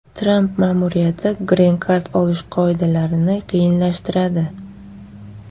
Tramp ma’muriyati Green Card olish qoidalarini qiyinlashtiradi.